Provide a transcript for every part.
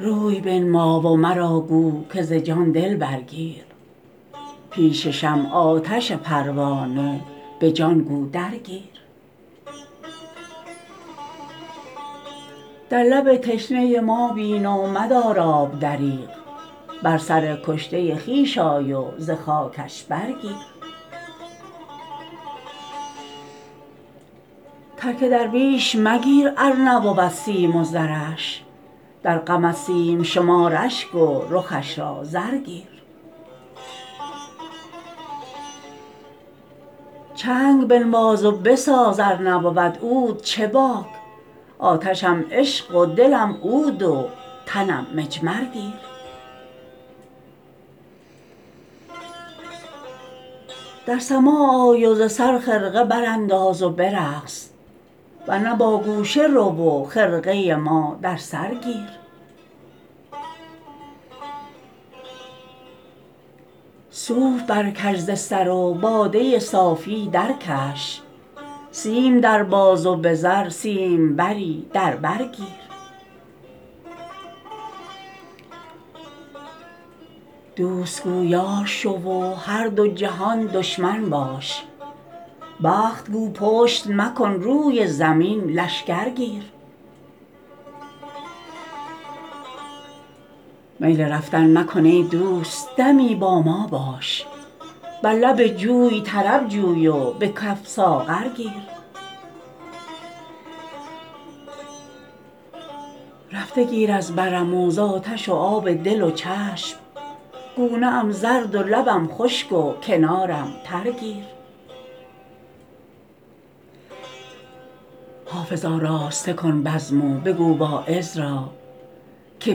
روی بنما و مرا گو که ز جان دل برگیر پیش شمع آتش پروانه به جان گو درگیر در لب تشنه ما بین و مدار آب دریغ بر سر کشته خویش آی و ز خاکش برگیر ترک درویش مگیر ار نبود سیم و زرش در غمت سیم شمار اشک و رخش را زر گیر چنگ بنواز و بساز ار نبود عود چه باک آتشم عشق و دلم عود و تنم مجمر گیر در سماع آی و ز سر خرقه برانداز و برقص ور نه با گوشه رو و خرقه ما در سر گیر صوف برکش ز سر و باده صافی درکش سیم در باز و به زر سیمبری در بر گیر دوست گو یار شو و هر دو جهان دشمن باش بخت گو پشت مکن روی زمین لشکر گیر میل رفتن مکن ای دوست دمی با ما باش بر لب جوی طرب جوی و به کف ساغر گیر رفته گیر از برم و زآتش و آب دل و چشم گونه ام زرد و لبم خشک و کنارم تر گیر حافظ آراسته کن بزم و بگو واعظ را که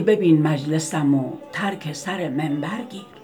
ببین مجلسم و ترک سر منبر گیر